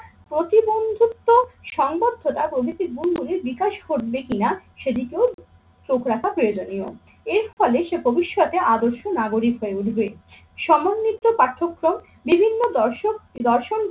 প্রতিবন্ধুত্ব সংবদ্ধতা প্রভৃতি বন্ধুরই বিকাশ ঘটবে কিনা সেদিকেও চোখ রাখা প্রয়োজনীয়। এর ফলে সে ভবিষ্যতে আদর্শ নাগরিক হয়ে উঠবে। সমন্বিত পাঠ্যক্রম, বিভিন্ন দর্শক দর্শনকে